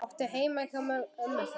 Áttu heima hjá ömmu þinni?